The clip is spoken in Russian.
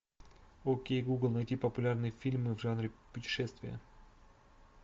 окей гугл найти популярные фильмы в жанре путешествия